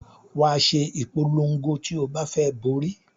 Wàá ṣe ìpolon̄go ti o bá fẹ borí